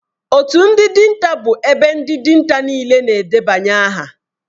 Otu ndị dinta bụ ebe ndị dinta niile na-edebanye aha